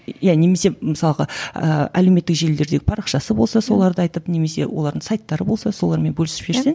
иә немесе мысалға ыыы әлеуметтік желілерде парақшасы болса соларды айтып немесе олардың сайттары болса солармен бөлісіп жіберсең